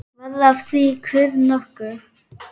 Varð af því kurr nokkur.